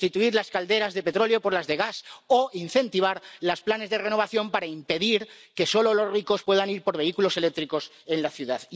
sustituir las calderas de petróleo por las de gas o incentivar los planes de renovación para impedir que solo los ricos puedan ir en vehículos eléctricos por la ciudad.